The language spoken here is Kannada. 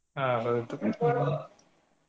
ಹಾ ಹೌದು .